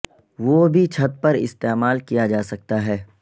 وہ بھی چھت پر استعمال کیا جا سکتا ہے